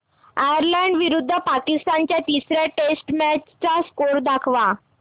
Ireland विरुद्ध पाकिस्तान च्या तिसर्या टेस्ट मॅच चा स्कोअर दाखवा